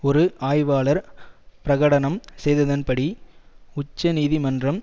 ஒரு ஆய்வாளர் பிரகடனம் செய்ததன்படி உச்சநீதிமன்றம்